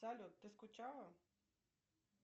салют ты скучала